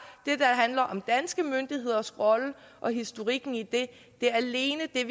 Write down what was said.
og om danske myndigheders rolle og historikken i det alene er